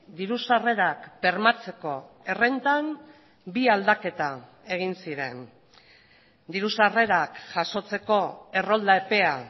diru sarrerak bermatzeko errentan bi aldaketa egin ziren diru sarrerak jasotzeko errolda epea